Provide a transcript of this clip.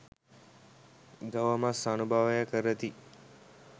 ගව මස් අනුභවය කරති.